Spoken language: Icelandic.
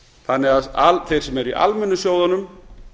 þannig að þeir sem eru í almennu sjóðunum